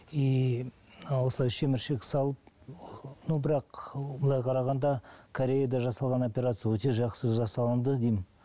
и осылай шеміршек салып но бірақ былай қарағанда кореяда жасалынған операция өте жақсы жасалынды деймін